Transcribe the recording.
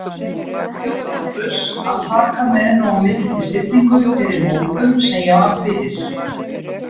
Lárus, að taka með nógu mikilli stillingu þeirri móðgun, sem ég varð fyrir